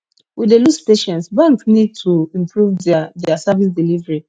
we dey lose patience banks need to improve diir diir service delivery